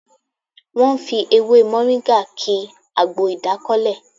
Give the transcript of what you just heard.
Wọ́n fi ewé Mọ̀ríngà ki àgbo ìdákọ́lẹ̀